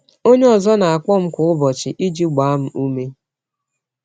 Onye ọzọ na-akpọ m kwa ụbọchị iji gbaa m ume.